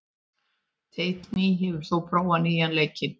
Teitný, hefur þú prófað nýja leikinn?